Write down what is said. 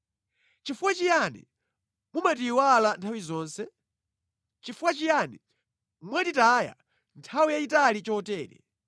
Chifukwa chiyani mumatiyiwala nthawi zonse? Chifukwa chiyani mwatitaya nthawi yayitali chotere?